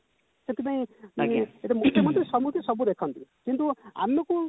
ମୁଖ୍ୟମନ୍ତ୍ରୀ ସମସ୍ତଙ୍କୁ ସବୁ ଦେଖନ୍ତି କିନ୍ତୁ